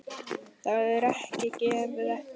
Það var ekki gefið eftir.